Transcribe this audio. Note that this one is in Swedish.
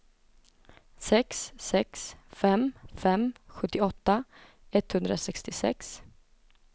sex sex fem fem sjuttioåtta etthundrasextiosex